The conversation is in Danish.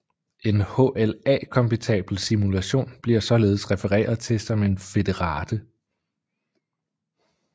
En HLA kompatibel simulation bliver således refereret til som en federate